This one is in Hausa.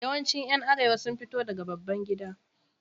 Yawancin ’yan Arewa sun fito daga babban gida.